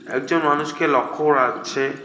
একজন মানুষকে লক্ষ করা যাচ্ছে।